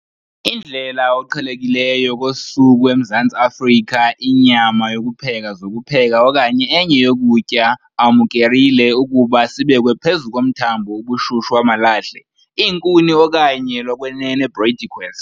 Indlela oqhelekileyo kosuku eMzantsi Afrika inyama yokupheka zokupheka okanye enye yokutya amukerile ukuba sibekwe phezu komthombo ubushushu wamalahle, iinkuni okanye lokwenene briquettes.